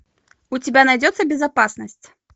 у тебя найдется безопасность